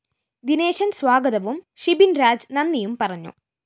ദിനേശന്‍ സ്വാഗതവും ഷിബിന്‍രാജ് നന്ദിയും പറഞ്ഞു